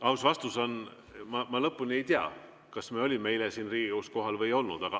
Aus vastus on: ma lõpuni ei tea, kas me olime eile siin Riigikogus kohal või ei olnud.